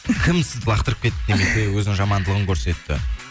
кім сізді лақтырып кетті немесе өзінің жамандылығын көрсетті